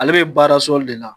Ale bɛ baara sɔli de la